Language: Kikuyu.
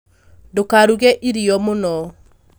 Ndũkaruge irio mũno